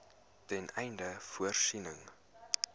ten einde voorsiening